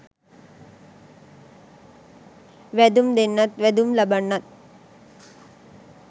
වැදුම් දෙන්නත් වැදුම් ලබන්නත්